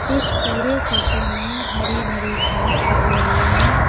इस पूरे फोटो में हरी भरी घास दिख रही है।